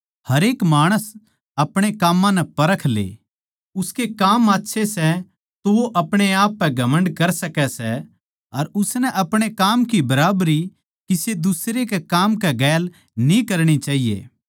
हरेक माणस अपणे काम्मां नै परख ले उसके काम आच्छे सै तो वो अपणे आपनै पै घमण्ड कर सकै सै अर उसनै अपणे काम की बराबरी किसे दुसरे के काम गैल न्ही करणी चाहिए